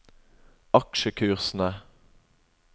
aksjekursene